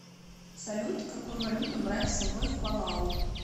салют какую валюту брать с собой в палау